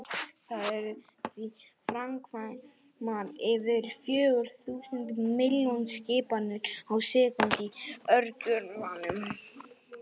Það eru því framkvæmdar yfir fjögur þúsund milljón skipanir á sekúndu í örgjörvanum!